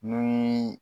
Ni